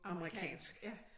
Amerikansk ja